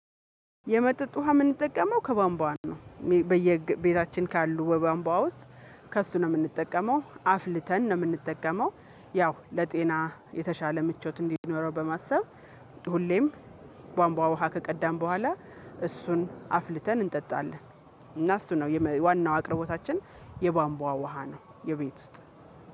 የመጠጥ ውሃ የምንጠቀመው ከባንቧን ነው። በየቤታችን ካሉ በባንቧ ውስጥ ከእሱ ነው የምንጠቀመው አፍልተን ነው፣ የምንጠቀመው ያው፣ ለጤና የተሻለ ምቾት እንዲኖረው በማሰብ ሁሌም ከቧንቧ ውሃ ከቀዳን በኋላ እሱን አፍልተን እንጠጣለን እና እሱ ነው ዋናው አቅርቦታችን የባንቧ ውሃ ነው የቤት ውስጥ